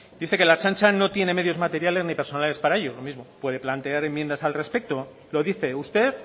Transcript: dice que la ertzaintza no tiene medios materiales ni personales para ello lo mismo puede plantear enmiendas al respecto lo dice usted